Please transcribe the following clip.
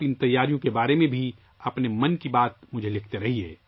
ان تیاریوں کے بارے میں بھی آپ مجھے اپنی 'من کی بات' لکھتے رہیں